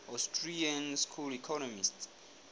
austrian school economists